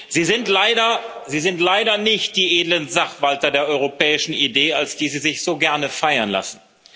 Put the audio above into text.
Sie sind leider nicht die edlen Sachwalter der europäischen Idee, als die Sie sich so gerne feiern lassen.